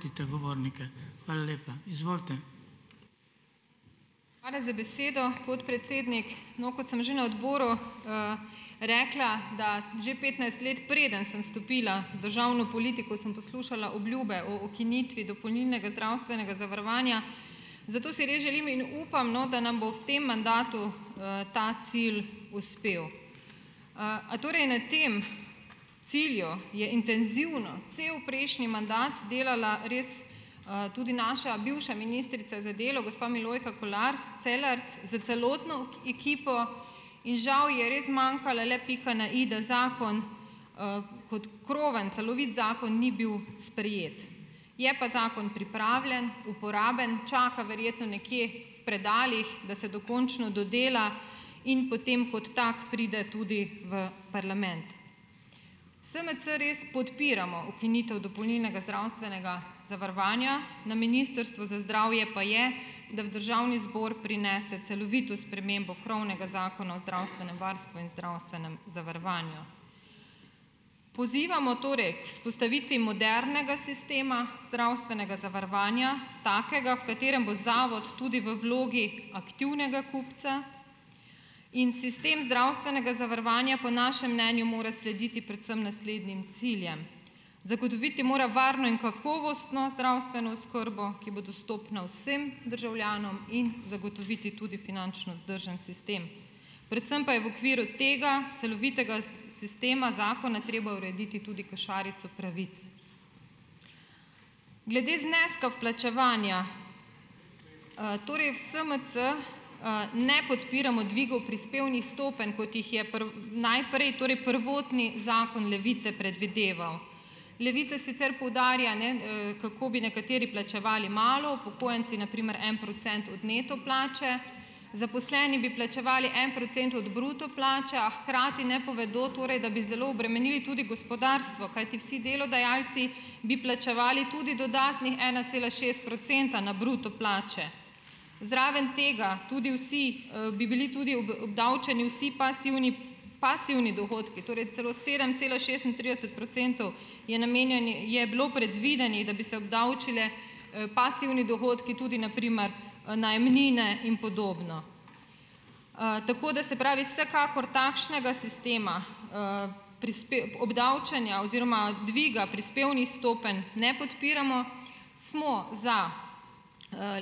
Hvala za besedo, podpredsednik. No, kot sem že na odboru, rekla, da že petnajst let, preden sem stopila v državno politiko, sem poslušala obljube o ukinitvi dopolnilnega zdravstvenega zavarovanja. Zato si res želim in upam, no, da nam bo v tem mandatu, ta cilj uspel. A torej na tem cilju je intenzivno, cel prejšnji mandat delala res, tudi naša bivša ministrica za delo, gospa Milojka Kolar Celarc s celotno ekipo. In žal ji je res zmanjkala le pika na i, da zakon, kot krovni, celovit zakon, ni bil sprejet. Je pa zakon pripravljen, uporaben, čaka verjetno nekje v predalih, da se dokončno dodela, in potem kot tak pride tudi v parlament. V SMC res podpiramo ukinitev dopolnilnega zdravstvenega zavarovanja, na Ministrstvu za zdravje pa je, da v državni zbor prinese celovito spremembo krovnega Zakona o zdravstvenem varstvu in zdravstvenem zavarovanju. Pozivamo torej k vzpostavitvi modernega sistema zdravstvenega zavarovanja, takega, v katerem bo zavod tudi v vlogi aktivnega kupca. In sistem zdravstvenega zavarovanja po našem mnenju mora slediti predvsem naslednjim ciljem: zagotoviti mora varno in kakovostno zdravstveno oskrbo, ki bo dostopna vsem državljanom in zagotoviti tudi finančno vzdržen sistem. Predvsem pa je v okviru tega celovitega sistema zakona treba urediti tudi košarico pravic. Glede zneska vplačevanja. Torej v SMC, ne podpiramo dvigov prispevnih stopenj, kot jih je najprej, torej prvotni zakon Levice predvideval. Levica sicer poudarja, ne, kako bi nekateri plačevali malo, upokojenci na primer en procent od neto plače, zaposleni bi plačevali en procent od bruto plače, a hkrati ne povedo, torej da bi zelo obremenili tudi gospodarstvo. Kajti vsi delodajalci bi plačevali tudi dodatnih ena cela šest procenta na bruto plače. Zraven tega tudi vsi, bi bili tudi obdavčeni vsi pasivni, pasivni dohodki, torej celo sedem cela šestintrideset procentov je je bilo predvidenih, da bi se obdavčili, pasivni dohodki, tudi na primer najemnine in podobno. Tako da, se pravi, vsekakor takšnega sistema, obdavčenja oziroma dviga prispevnih stopenj ne podpiramo. Smo za,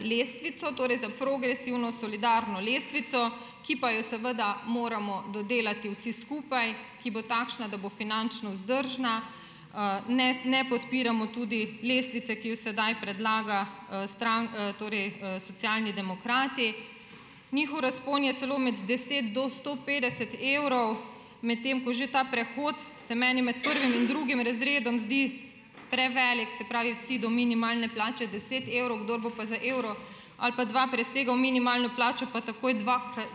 lestvico, torej za progresivno solidarno lestvico, ki pa jo seveda moramo dodelati vsi skupaj, ki bo takšna, da bo finančno vzdržna. Ne, ne podpiramo tudi lestvice, ki jo sedaj predlaga, torej Socialni demokrati. Njihov razpon je celo med deset do sto petdeset evrov, medtem ko že ta prehod se meni med prvim in drugim razredom zdi prevelik, se pravi, vsi do minimalne plače deset evrov. Kdor bo pa za evro ali pa dva presegal minimalno plačo pa takoj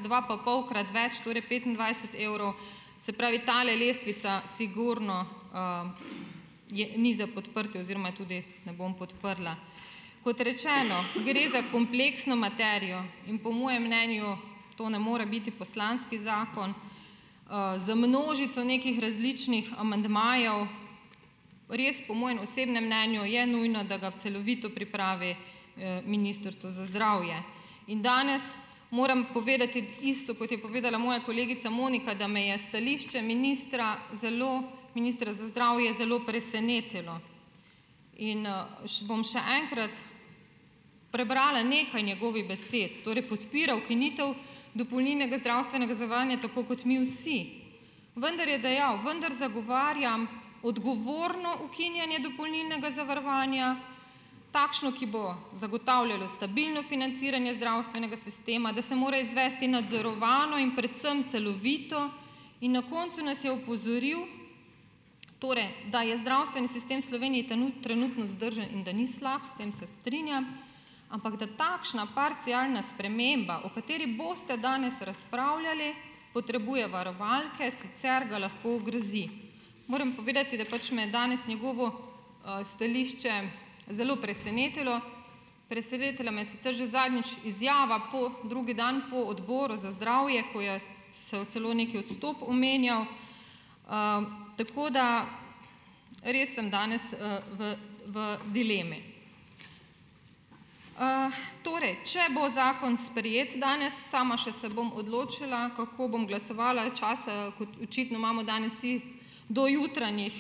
dvapapolkrat več, torej petindvajset evrov. Se pravi, tale lestvica sigurno, ni za podprtje oziroma jo tudi ne bom podprla. Kot rečeno, gre za kompleksno materijo in po mojem mnenju to ne more biti poslanski zakon. Z množico nekih različnih amandmajev. Res po mojem osebnem mnenju je nujno, da ga celovito pripravi, Ministrstvo za zdravje. In danes moram povedati isto, kot je povedala moja kolegica Monika, da me je stališče ministra zelo ministra za zdravje zelo presenetilo. In, bom še enkrat prebrala nekaj njegovih besed. Torej, podpira ukinitev dopolnilnega zdravstvenega zavarovanja, tako kot mi vsi. Vendar je dejav: "... vendar zagovarjam odgovorno ukinjanje dopolnilnega zavarovanja, takšno, ki bo zagotavljalo stabilno financiranje zdravstvenega sistema, da se mora izvesti nadzorovano in predvsem celovito ..." In na koncu nas je opozoril, torej da je zdravstveni sistem v Sloveniji trenutno vzdržen in da ni slab. S tem se strinjam. "Ampak da takšna parcialna sprememba, o kateri boste danes razpravljali, potrebuje varovalke, sicer ga lahko ogrozi." Moram povedati, da pač me je danes njegovo, stališče zelo presenetilo. Presenetila me je sicer že zadnjič izjava drugi dan po odboru za zdravje, ko je celo neki odstop omenjal. tako da ... Res sem danes, v v dilemi. Torej, če bo zakon sprejet danes, sama se še bom odločila, kako bom glasovala. Časa kot očitno imamo danes vsi do jutranjih,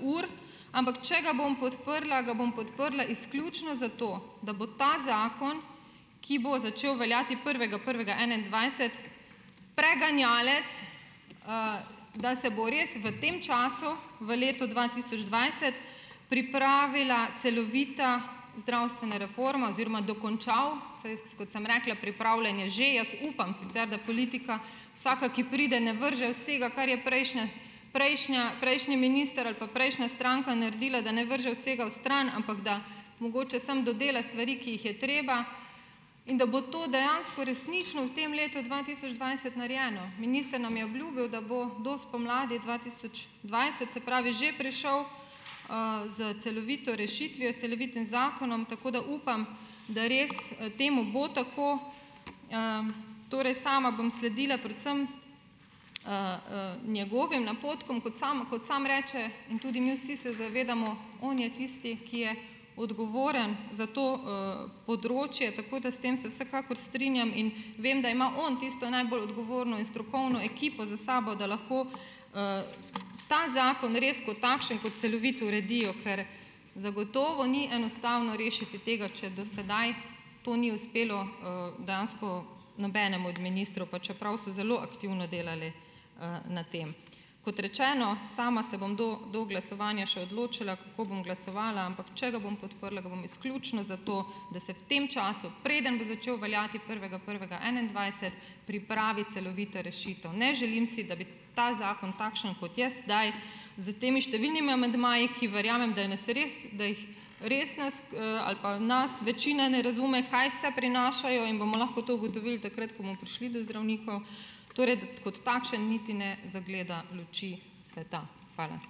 ur. Ampak če ga bom podprla, ga bom podprla izključno zato, da bo ta zakon, ki bo začel veljati prvega prvega enaindvajset, preganjalec, da se bo res v tem času, v letu dva tisoč dvajset, pripravila celovita zdravstvena reforma oziroma dokončal. Saj kot sem rekla, pripravljen je že. Jaz upam sicer, da politika vsaka, ki pride, ne vrže vsega, kar je prejšnja prejšnja, prejšnji minister ali pa prejšnja stranka naredila, da ne vrže vsega vstran, ampak da mogoče samo dodela stvari, ki jih je treba. In da bo to dejansko resnično v tem letu dva tisoč dvajset narejeno. Minister nam je obljubil, da bo do spomladi dva tisoč dvajset, se pravi, že prišel, s celovito rešitvijo, s celovitim zakonom, tako da upam, da res temu bo tako. torej, sama bom sledila predvsem, njegovim napotkom. Kot sam, kot sam reče in tudi mi vsi se zavedamo, on je tisti, ki je odgovoren za to, področje. Tako da s tem se vsekakor strinjam in vem, da ima on tisto najbolj odgovorno in strokovno ekipo za sabo, da lahko, ta zakon res kot takšen, kot celovit, uredijo. Ker zagotovo ni enostavno rešiti tega, če do sedaj to ni uspelo, dejansko nobenemu od ministrov, pa čeprav so zelo aktivno delali, na tem. Kot rečeno, sama se bom do do glasovanja še odločila, kako bom glasovala, ampak če ga bom podprla, ga bom izključno zato, da se v tem času, preden bo začel veljati prvega prvega enaindvajset, pripravi celovita rešitev. Ne želim si, da bi ta zakon, takšen, kot je zdaj, s temi številnimi amandmaji, ki verjamem, da res da jih, res ali pa nas večina ne razume, kaj vse prinašajo, in bomo lahko to ugotovili takrat, ko bomo prišli do zdravnikov, torej kot takšen niti ne zagleda luči sveta. Hvala.